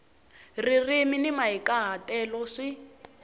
ririmi ni mahikahatelo swi